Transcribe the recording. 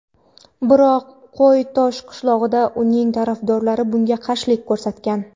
Biroq Qo‘y-Tosh qishlog‘idagi uning tarafdorlari bunga qarshilik ko‘rsatgan.